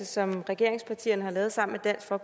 som regeringspartierne har lavet sammen